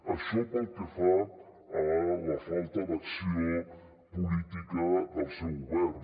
això pel que fa a la falta d’acció política del seu govern